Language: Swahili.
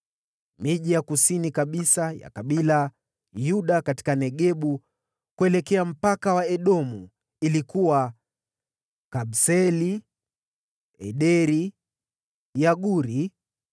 Miji ya kusini kabisa ya kabila la Yuda katika Negebu kuelekea mpaka wa Edomu ilikuwa: Kabseeli, Ederi, Yaguri,